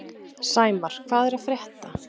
Sæmar, hvað er að frétta?